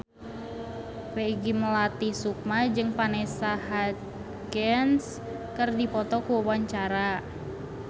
Peggy Melati Sukma jeung Vanessa Hudgens keur dipoto ku wartawan